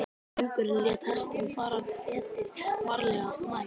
Drengurinn lét hestinn fara fetið, varlega, nær.